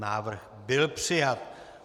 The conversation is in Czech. Návrh byl přijat.